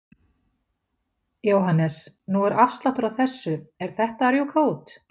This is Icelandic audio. Jóhannes: Nú er afsláttur á þessu, er þetta að rjúka út?